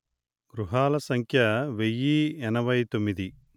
గృహాల సంఖ్య వెయ్యి ఎనభై తొమ్మిది